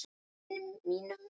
Vini mínum!